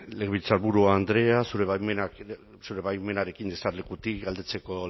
legebiltzarburu andrea zure baimenarekin jesarlekutik galdetzeko